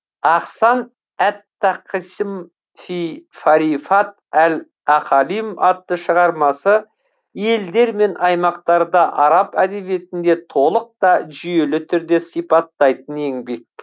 ахсан әт тақасім фи марифат әл ақалим атты шығармасы елдер мен аймақтарда араб әдебиетінде толық та жүйелі түрде сипаттайтын еңбек